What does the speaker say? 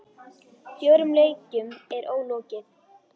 Fjórum leikjum er ólokið.